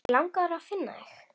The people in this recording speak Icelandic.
Mig langar að finna þig.